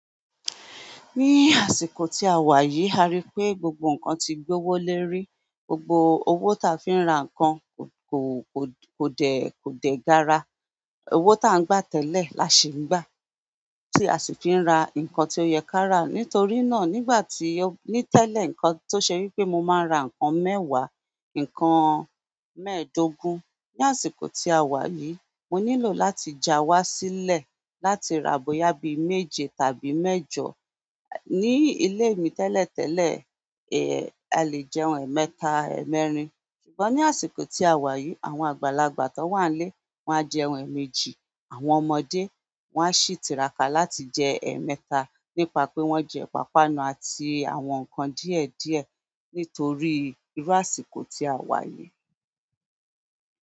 Ní àsìkò tí a wà yìí, a rí i pé gbogbo ǹkan ti gbówó lérí. Gbogbo owó tí a fi ń ra ǹkan kò, kò, kò dé, kò dé gàrà. Owó tí à ń gbà tẹ́lẹ̀ là ṣi ń gbà, tí a sì fi ń ra ǹkan tó yẹ kára. Nítorí náà, nígbà tí-- ní tẹ́lẹ̀, ǹkan tó ṣe wí pé mo máa ń ra ǹkan mẹ́wàá, ǹkan mẹ́ẹ̀ẹ́dógún, ní àsìkò tí a wà yìí, mo nílò láti já wá sílẹ̀ láti ra bóyá bí i méje tàbí mẹ́jọ. Ni ilé mi tẹ́lẹ̀ tẹ́lẹ̀, a lè jẹun ẹ̀ẹ̀mẹta, ẹ́ẹ̀mẹ́rin, ṣùgbọ́n ní àsìkò tí a wà yìí, àwọn àgbàlagbà tó wà nílé, wọ́n á jẹ ẹ̀ẹ̀mejì, àwọn ọmọdé, wọ́n á sì tiraka láti jẹ ẹ̀ẹ̀mẹ́ta nípa pé wọ́n jẹ ipàpánu àti àwọn ǹkan díẹ̀ díẹ̀ nítorí irú àsìkò tí a wà yìí.